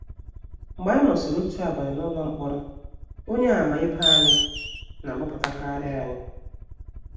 Mgbe anyị nọsịrị otu abalị n’ụlọ mkpọrọ, Onyeàmà ibe anyị na - agbapụtakarị anyị.